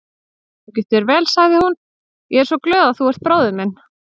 Gangi þér vel, sagði hún, ég er svo glöð að þú ert bróðir minn.